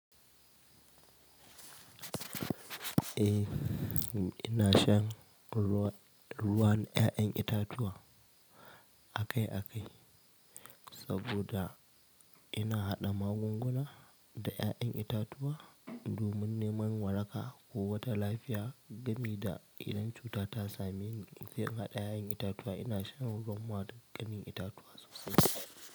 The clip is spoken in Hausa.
Eh ina shan 'yayan itatuwa akai akai saboda ina haɗa magun guna da 'yayan itatuwa domin neman waraka ko wata lafiya gami da idan cuta ta same ni, inje in haɗa 'ya'yan itatuwa ina shan ruwan wata gamin itatuwa sosai.